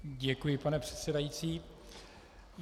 Děkuji, pane předsedající.